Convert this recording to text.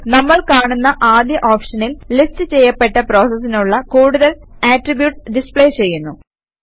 നമ്മൾ കാണുന്ന ആദ്യ ഓപ്ഷനിൽ ലിസ്റ്റ് ചെയ്യപ്പെട്ട പ്രോസസിനുള്ള കൂടുതൽ ആട്രിബ്യൂട്ട്സ് ഡിസ്പ്ലേ ചെയ്യുന്നു